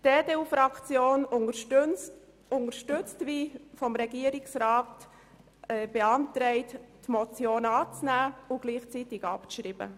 Die EDU-Fraktion unterstützt den Antrag des Regierungsrats, die Motion anzunehmen und gleichzeitig abzuschreiben.